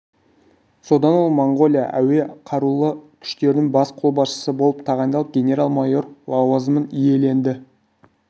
содан ол моңғолия әуе қарулы күштерінің бас қолбасшысы болып тағайындалып генерал-майор лауазымын иеленді